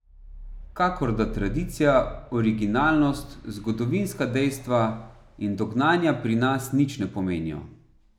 Kakor da tradicija, originalnost, zgodovinska dejstva in dognanja pri nas nič ne pomenijo.